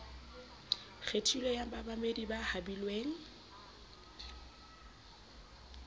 kgethilweng ya bamamedi ba habilweng